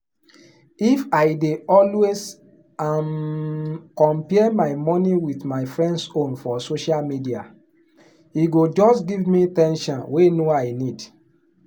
money pressure fit affect person mental health and how dem dey enjoy life generally.